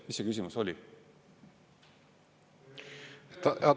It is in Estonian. Mis see küsimus oli?